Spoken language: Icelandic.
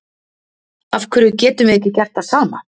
Af hverju getum við ekki gert það sama?